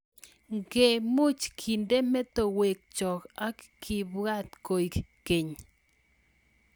nge much kende metowek chok ak kebwat koek keny